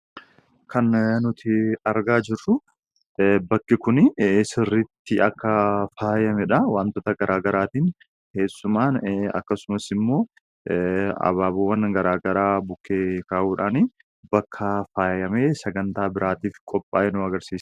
Kan nuti argaa jirru bakki kuni sirriitti akka faayameedha. Wantoota garagaaraatiin keessummaan akkasumasimmoo abaabowwan garagaraa bukkee kaa'uudhaani bakka faayamee sagantaa biraatiif qophaa'e nu agarsiisa.